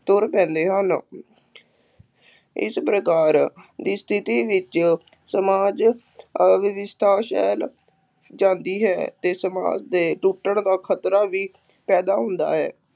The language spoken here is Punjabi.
ਤੁਰ ਪੈਂਦੇ ਹਨ ਇਸ ਪ੍ਰਕਾਰ ਦੀ ਸਥਿਤੀ ਵਿੱਚ ਸਮਾਜ ਫੈਲ ਜਾਂਦੀ ਹੈ ਅਤੇ ਸਮਾਜ ਦੇ ਟੁੱਟਣ ਦਾ ਖਤਰਾ ਵੀ ਪੈਦਾ ਹੁੰਦਾ ਹੈ,